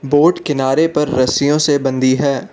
Boat किनारे पर रस्सियों से बंधी है।